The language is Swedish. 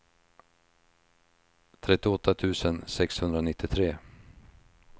trettioåtta tusen sexhundranittiotre